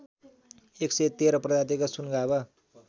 ११३ प्रजातिका सुनगाभा